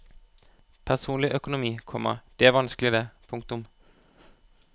Personlig økonomi, komma det er vanskelig det. punktum